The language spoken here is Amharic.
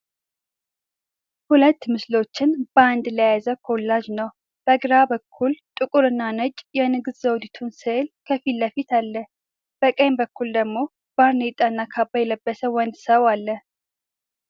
ሁለት ምስሎችን በአንድ ላይ የያዘ ኮላጅ ነው። በግራ በኩል ጥቁር እና ነጭ የንግስት ዘውዲቱ ስዕል ከፊት ለፊት አለ። በቀኝ በኩል ደግሞ ባርኔጣና ካባ የለበሰ ወንድ ሰው አለ።